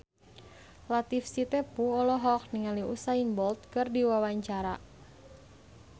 Latief Sitepu olohok ningali Usain Bolt keur diwawancara